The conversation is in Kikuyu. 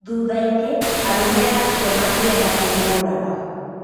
Thuthainĩ, arũme acio mekĩenda kũmũraga.